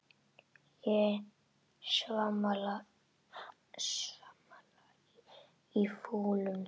Ég svamla í fúlum pytti.